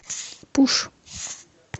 пуш